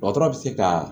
Dɔgɔtɔrɔ bɛ se ka